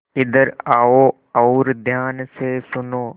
इधर आओ और ध्यान से सुनो